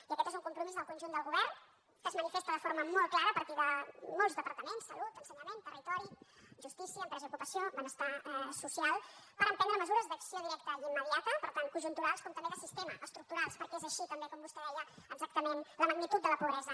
i aquest és un compromís del conjunt del govern que es manifesta de forma molt clara a partir de molts departaments salut ensenyament territori justícia empresa i ocupació benestar social per emprendre mesures d’acció directa i immediata per tant conjunturals com també de sistema estructurals perquè és així també com vostè deia exactament la magnitud de la pobresa